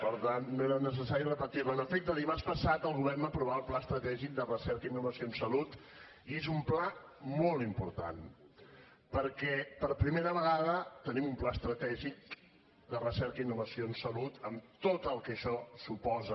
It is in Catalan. en efecte dimarts passat el govern va aprovar el pla estratègic de recerca i innovació en salut i és un pla molt important perquè per primera vegada tenim un pla estratègic de recerca i innovació en salut amb tot el que això suposa